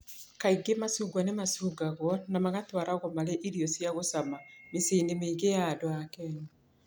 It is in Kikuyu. Kaingĩ macungwa nĩ macukagwo na magatwaragwo marĩ irio cia gũcama mĩciĩ-inĩ mĩingĩ ya andũ a Kenya.